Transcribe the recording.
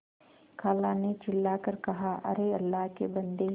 खाला ने चिल्ला कर कहाअरे अल्लाह के बन्दे